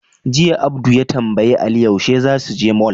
Jiya, Abdu ya tambayi Ali yaushe za su je mol.